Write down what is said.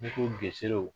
Ne ko gsere